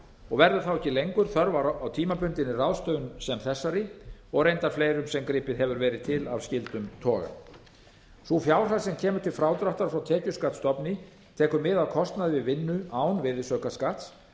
og verður ekki lengur þörf á tímabundinni ráðstöfun sem þessari og reyndar fleirum sem gripið hefur verið til af skyldum toga sú fjárhæð sem kemur til frádráttar frá tekjuskattstofni tekur mið af kostnaði við vinnu án virðisaukaskatts